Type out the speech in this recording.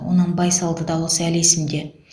оның байсалды дауысы әлі есімде